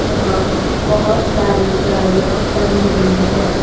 जहां बहोत सारी गाड़ियां खड़ी हुई है।